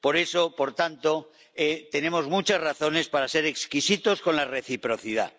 Por eso, por tanto, tenemos muchas razones para ser exquisitos con la reciprocidad.